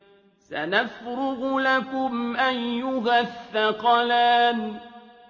سَنَفْرُغُ لَكُمْ أَيُّهَ الثَّقَلَانِ